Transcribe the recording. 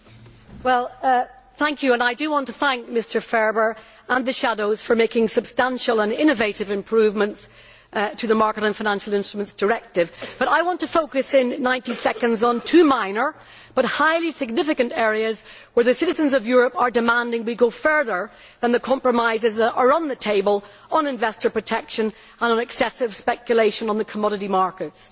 Mr President, I want to thank Mr Ferber and the shadow rapporteurs for making substantial and innovative improvements to the Market and Financial Instruments Directive. But I want to focus in 90 seconds on two minor but highly significant areas where the citizens of Europe are demanding that we go further than the compromises that are on the table on investor protection and excessive speculation on the commodity markets.